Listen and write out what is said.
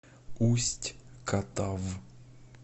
усть катав